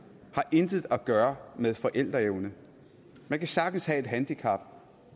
intet har at gøre med forældreevne man kan sagtens have et handicap